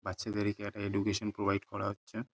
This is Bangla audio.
বাচ্চাদেরইকে একটা এডুকেশন প্রোভাইড করা হচ্ছে।